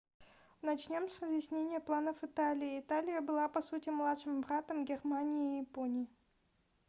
начнем с разъяснения планов италии италия была по сути младшим братом германии и японии